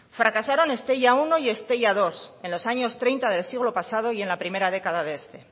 fracasaron estella uno y estella dos en los años treinta del siglo pasado y en la primera década de este